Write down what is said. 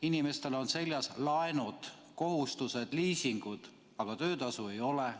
Inimestel on seljas laenud, kohustused, liisingud, aga töötasu ei ole.